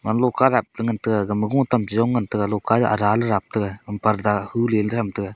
alo karap le ngan taiga gama gotam cheyong ngan taiga loka raley rap taiga purda huleley tham taiga.